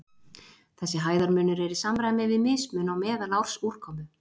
Þessi hæðarmunur er í samræmi við mismun á meðalársúrkomu.